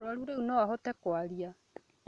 Mũrũaru rĩu no ahote kũaria